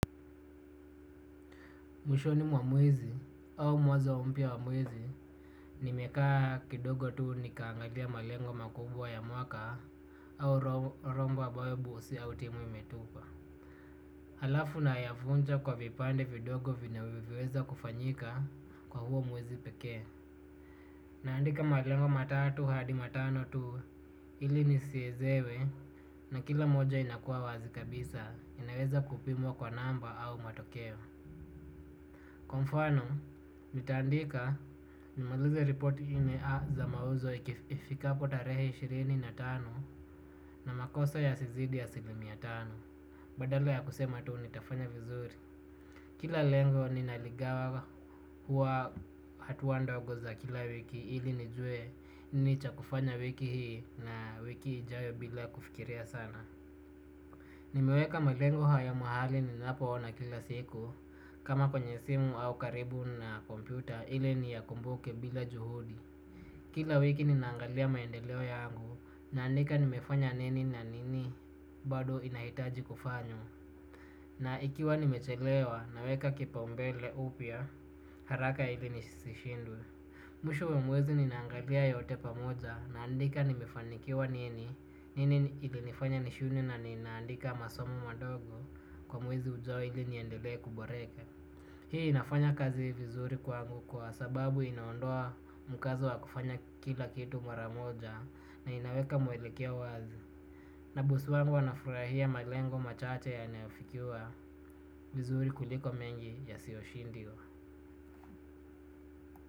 Mwishoni mwa mwezi au mwanzo mpya mwa mwezi nimekaa kidogo tu nikaangalia malengo makubwa ya mwaka au romba ambayo bosi au timu imetupa. Halafu nayafunja kwa vipande vidogo vinaweweza kufanyika kwa huo mwezi peke. Naandika malengo matatu hadi matano tu ili nisiezewe na kila moja inakua wazi kabisa inaweza kupimwa kwa namba au matokeo. Kwa mfano, nitaandika nimalize report ina za mauzo ikifika kutarehe ishirini na tano na makosa yasizidi asilimia tano. Badala ya kusema tu nitafanya vizuri. Kila lengo ninaligawa huwa hatua ndogo za kila wiki ili nijue nini cha kufanya wiki hii na wiki ijayo bila kufikiria sana. Nimeweka melengo haya mahali ninapoona kila siku kama kwenye simu au karibu na kompyuta ili niyakumbuke bila juhudi. Kila wiki ninaangalia maendeleo yangu naandika nimefanya nini na nini bado inahitaji kufanywa. Na ikiwa nimechelewa naweka kipaumbele upya haraka ili nisishindwe. Mwisho wa mwezi ninaangalia yote pamoja naandika nimefanikiwa nini, nini ilinifanya nishindwe na ninaandika masomo madogo kwa mwezi ujao ili niendele kuboreka. Hii inafanya kazi vizuri kwangu kwa sababu inaondoa mkazo wa kufanya kila kitu mara moja na inaweka mwelekeo wazi. Na bosi wangu anafurahia malengo machache yanayofikiwa vizuri kuliko mengi yasioshindiwa.